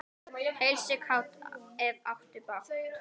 Heilsa kátt, ef áttu bágt.